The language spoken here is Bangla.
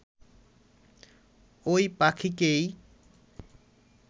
ঐ পাখিকেই